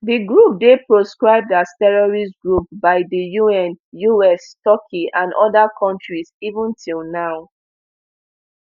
di group dey proscribed as terrorist group by di un us turkey and oda kontris even till now